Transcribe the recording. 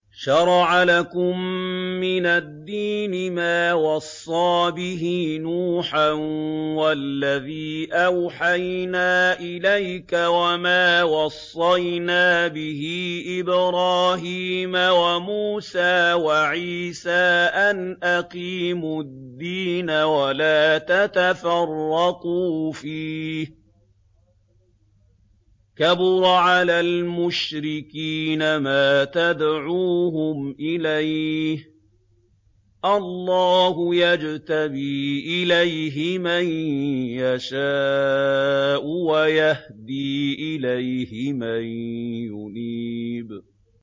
۞ شَرَعَ لَكُم مِّنَ الدِّينِ مَا وَصَّىٰ بِهِ نُوحًا وَالَّذِي أَوْحَيْنَا إِلَيْكَ وَمَا وَصَّيْنَا بِهِ إِبْرَاهِيمَ وَمُوسَىٰ وَعِيسَىٰ ۖ أَنْ أَقِيمُوا الدِّينَ وَلَا تَتَفَرَّقُوا فِيهِ ۚ كَبُرَ عَلَى الْمُشْرِكِينَ مَا تَدْعُوهُمْ إِلَيْهِ ۚ اللَّهُ يَجْتَبِي إِلَيْهِ مَن يَشَاءُ وَيَهْدِي إِلَيْهِ مَن يُنِيبُ